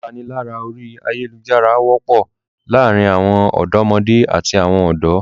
Ìpalára orí ayálujára wọ́pọ̀ láàárin àwọn ọ̀dọ́mọdé àti àwọn ọ̀dọ́.